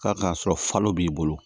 K'a k'a sɔrɔ falo b'i bolo